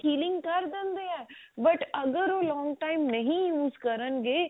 healing ਕਰ ਦਿੰਦੇ ਆ but ਅਗਰ ਉਹ long time ਨਹੀ use ਕਰਣਗੇ